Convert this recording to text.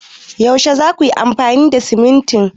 Yaushe za kuyi amfani da simintin?